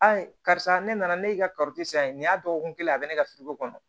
karisa ne nana ne ka san ye nin y'a dɔgɔkun kelen a bɛ ne ka furuko kɔnɔ